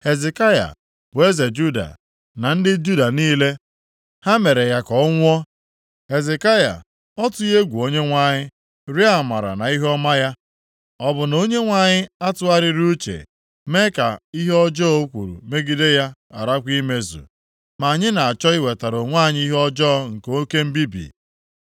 “Hezekaya bụ eze Juda, na ndị Juda niile, ha mere ya ka ọ nwụọ? Hezekaya ọ tụghị egwu Onyenwe anyị, rịọọ amara na ihuọma ya? Ọ bụ na Onyenwe anyị atụgharịghị uche, mee ka ihe ọjọọ o kwuru megide ya gharakwa imezu? Ma anyị na-achọ iwetara onwe anyị ihe ọjọọ nke oke mbibi.”